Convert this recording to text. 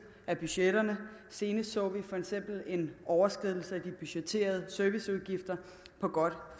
af budgetterne senest så vi for eksempel en overskridelse af de budgetterede serviceudgifter på godt